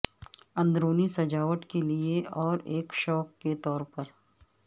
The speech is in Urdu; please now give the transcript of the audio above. اندرونی سجاوٹ کے لئے اور ایک شوق کے طور پر